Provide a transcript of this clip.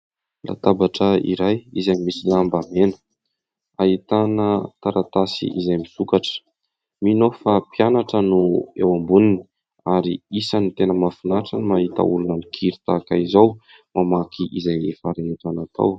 Latabatra iray izay misy lamba mena ahitana taratasy izay misokatra. Mino aho fa mpianatra no eo amboniny ary isany tena mahafinaritra ny mahita olona mikiry tahaka izao mamaky izay efa rehetra natao.